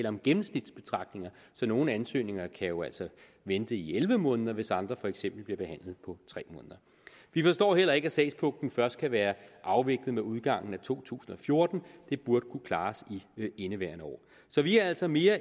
om gennemsnitsbetragtninger så nogle ansøgninger kan jo altså vente i elleve måneder hvis andre for eksempel bliver behandlet på tre måneder vi forstår heller ikke at sagspuklen først kan være afviklet ved udgangen af to tusind og fjorten det burde kunne klares i indeværende år så vi er altså mere